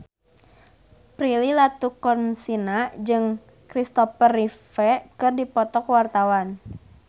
Prilly Latuconsina jeung Kristopher Reeve keur dipoto ku wartawan